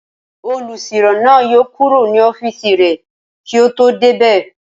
Olùsirò náà yóò kúrò ní ọ́fìsì rẹ̀ kí o tó débẹ̀